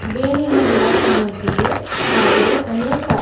ಬೆನಿನ ಗಿಡ ಕಾಣುತ್ತಿದೆ ಹಾಗೆ ಅನೇಕ--